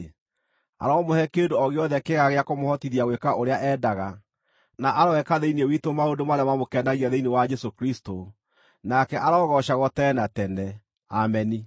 aromũhe kĩndũ o gĩothe kĩega gĩa kũmũhotithia gwĩka ũrĩa endaga, na aroeka thĩinĩ witũ maũndũ marĩa mamũkenagia thĩinĩ wa Jesũ Kristũ, nake arogoocagwo tene na tene. Ameni.